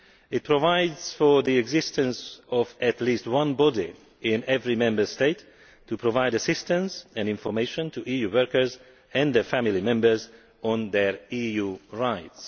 It provides for the existence of at least one body in every Member State to provide assistance and information to EU workers and their family members on their EU rights.